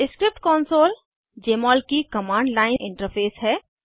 script console Jmol की command line interface है